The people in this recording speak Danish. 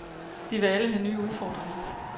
De vil alle have nye udfordringer.